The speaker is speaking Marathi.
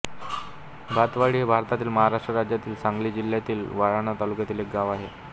भातवाडी हे भारतातील महाराष्ट्र राज्यातील सांगली जिल्ह्यातील वाळवा तालुक्यातील एक गाव आहे